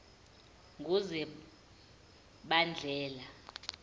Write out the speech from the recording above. ngozibandlela